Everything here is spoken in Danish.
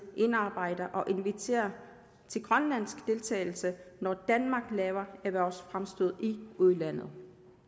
indarbejder og inviterer til grønlandsk deltagelse når danmark laver erhvervsfremstød i udlandet